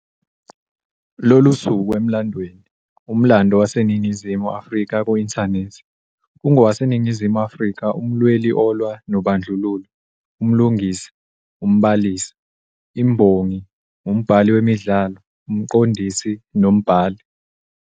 Lolu suku Emlandweni - Umlando WaseNingizimu Afrika Ku-inthanethi] ungowaseNingizimu Afrika umlweli olwa nobandlululo, umlingisi, umbalisi], imbongi, umbhali wemidlalo, umqondisi nombhali.